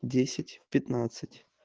десять пятнадцать